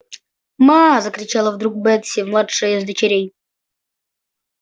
ма закричала вдруг бетси младшая из дочерей